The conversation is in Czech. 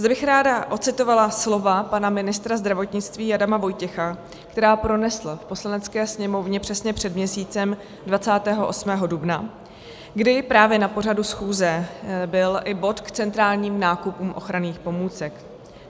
Zde bych ráda ocitovala slova pana ministra zdravotnictví Adama Vojtěcha, která pronesl v Poslanecké sněmovně přesně před měsícem, 28. dubna, kdy právě na pořadu schůze byl i bod k centrálním nákupům ochranných pomůcek.